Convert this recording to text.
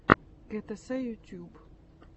гтс ютьюб